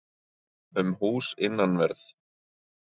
um hús innanverð.